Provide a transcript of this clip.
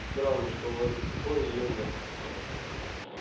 странно что у вас до сих пор её нет